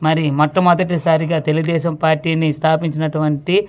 మరి మోట్టమోదటి సరిగా తెలుగు దేశం పార్టీ ని స్థాపించినటువంటి.